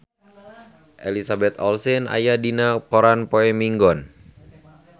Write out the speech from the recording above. Elizabeth Olsen aya dina koran poe Minggon